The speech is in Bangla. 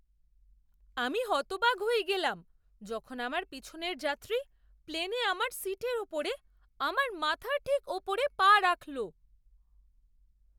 আমি হতবাক হয়ে গেলাম যখন আমার পিছনের যাত্রী প্লেনে আমার সীটের উপরে আমার মাথার ঠিক উপরে পা রাখল!